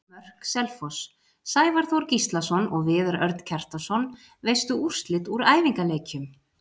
Mörk Selfoss: Sævar Þór Gíslason og Viðar Örn Kjartansson Veistu úrslit úr æfingaleikjum?